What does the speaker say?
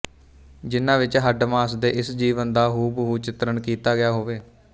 ਜਿਨਾ ਵਿਚ ਹੱਡ ਮਾਸ ਦੇ ਇਸ ਜੀਵਨ ਦਾ ਹੂਬਹੂ ਚਿਤਰਣ ਕੀਤਾ ਗਿਆ ਹੋਵੇ